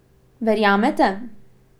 Verjamete?